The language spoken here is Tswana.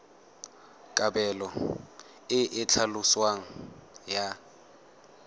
kabelo e e tlhaloswang ya